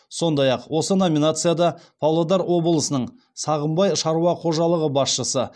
сондай ақ осы номинацияда павлодар облысының сағымбай шаруа қожалығы басшысы